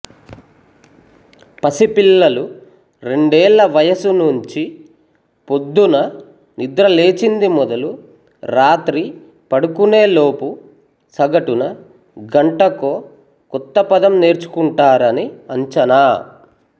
పసిపిల్లలు రెండేళ్ల వయసు నుంచి పొద్దున్న నిద్రలేచింది మొదలు రాత్రి పడుకునేలోపు సగటున గంటకో కొత్తపదం నేర్చుకుంటారని అంచనా